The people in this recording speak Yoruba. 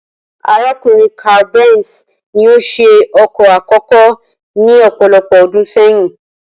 Arákùnrin Carl Benz ni ó s̩e o̩kò̩ àkókó ní ò̩pò̩lo̩pò̩ o̩dún sé̩yìn